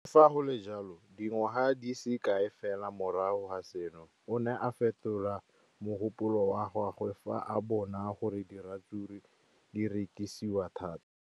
Le fa go le jalo, dingwaga di se kae fela morago ga seno, o ne a fetola mogopolo wa gagwe fa a bona gore diratsuru di rekisiwa thata.